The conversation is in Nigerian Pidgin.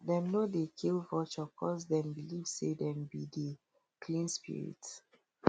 dem no dey kill vulture coz dem believe say dem be dey clean spirit